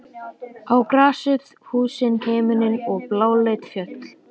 Á grasið, húsin, himininn og bláleit fjöll.